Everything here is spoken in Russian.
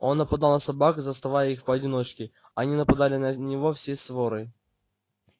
он нападал на собак заставая их поодиночке они нападали на него всей сворой